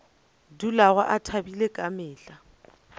dulago a thabile ka mehla